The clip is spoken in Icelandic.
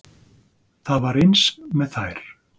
Það var eins með þær.